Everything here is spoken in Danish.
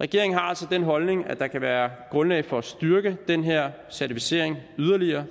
regeringen har altså den holdning at der kan være grundlag for at styrke den her certificering yderligere